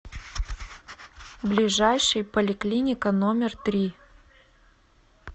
ближайший поликлиника номер три